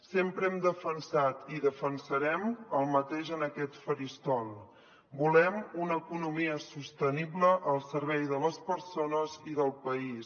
sempre hem defensat i defensarem el mateix en aquest faristol volem una economia sostenible al servei de les persones i del país